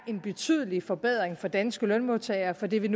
en betydelig forbedring for danske lønmodtagere for det vil